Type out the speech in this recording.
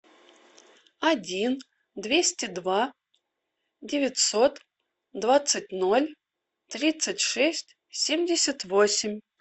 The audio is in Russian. один двести два девятьсот двадцать ноль тридцать шесть семьдесят восемь